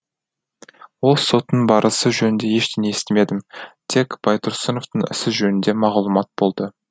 ол соттың барысы жөнінде ештеңе естімедім тек байтұрсыновтың ісі жөнінде мағлұмат болды